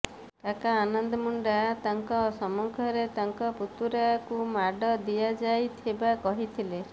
କାକା ଆନନ୍ଦ ମୁଣ୍ଡା ତାଙ୍କ ସମ୍ମୁଖରେ ତାଙ୍କ ପୁତୁରାକୁ ମାଡ଼ ଦିଆଯାଇ ଥିବା କହିଥିଲେ